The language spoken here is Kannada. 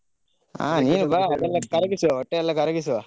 ಆ ನೀನು ಬಾ ಅದೆಲ್ಲಾ ಕರಗಿಸುವ ಹೊಟ್ಟೆಯೆಲ್ಲ ಕರಗಿಸುವ.